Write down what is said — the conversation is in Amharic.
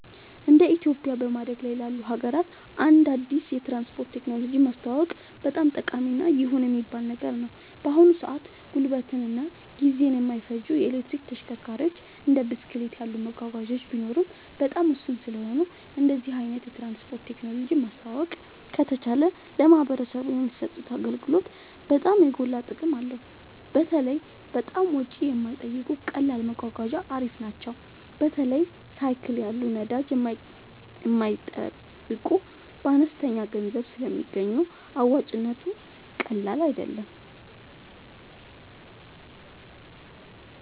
እንደ ኢትዮጵያ በማደግ ላይ ላሉ ሀገራት አንድ አዲስ የትራንስፖርት ቴክኖሎጂ ማስተዋወቅ በጣም ጠቃሚ እና ይሁን የሚባል ነገር ነው። በአሁን ሰአት ጉልበትን እና ጊዜን የማይፈጁ የኤሌክትሪክ ተሽከርካሪዎች እንደ ብስክሌት ያሉ መጓጓዣዎች ቢኖሩም በጣም ውስን ስለሆኑ እንደዚህ አይነት የትራንስፖርት ቴክኖሎጂ ማስተዋወቅ ከተቻለ ለማህበረሰቡ የሚሰጡት አገልግሎት በጣም የጎላ ጥቅም አለው። በተለይ በጣም ወጪ የማይጠይቁ ቀላል መጓጓዣ አሪፍ ናቸው። በተለይ ሳይክል ያሉ ነዳጅ የማይጠይቁ በአነስተኛ ገንዘብ ስለሚገኙ አዋጭነቱ ቀላል አይደለም